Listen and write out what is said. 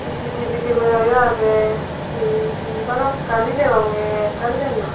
ctv camera yo agey hihi balokkani degonge ekkan diyen noi.